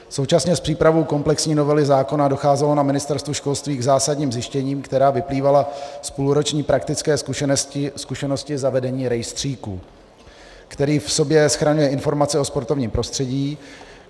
Současně s přípravou komplexní novely zákona docházelo na Ministerstvu školství k zásadním zjištěním, která vyplývala z půlroční praktické zkušenosti zavedení rejstříku, který v sobě schraňuje informace o sportovním prostředí.